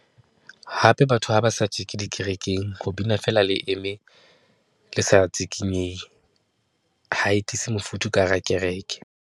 Hape batho ha ba sa tjeke dikerekeng, ho bina feela le eme le sa tsikinyehe, ha e tiise mofuthu ka hara kereke.